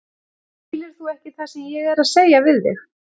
Skilur þú ekki það sem ég er að segja við þig!